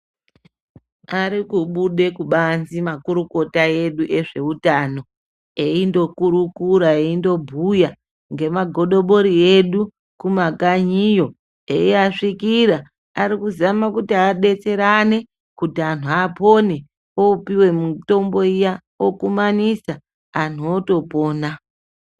Arikubude kubanzi makurukota edu ezveutano eindokurukura eindobhuya ngemagodobori edu kumakanyiyo eiasvikira arikuzame kuti adetserane kuti anhu apone ,opuwe mitombo iya okumanidza anhu otopona.